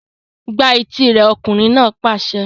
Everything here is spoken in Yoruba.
Gbá etí rẹ̀! Ọkùnrin náà pàṣẹ.